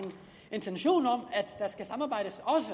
intention